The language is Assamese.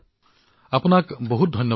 ডাঃ নাভিদ আপোনাক বহু ধন্যবাদ